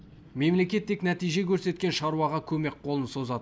мемлекет тек нәтиже көрсеткен шаруаға көмек қолын созады